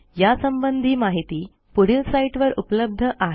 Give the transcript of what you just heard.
यासंबंधी माहिती पुढील साईटवर उपलब्ध आहे